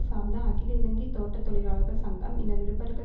சார்ந்த அகில இலங்கை தோட்ட தொழிலாளர்கள் சங்கம் இந்த நிருபர்கள்